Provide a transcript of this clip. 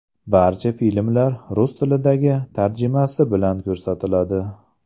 Barcha filmlar rus tilidagi tarjimasi bilan ko‘rsatiladi.